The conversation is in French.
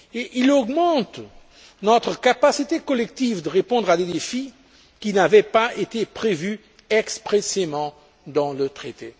Il augmente notre capacité collective de répondre à des défis qui n'avaient pas été prévus expressément dans le traité.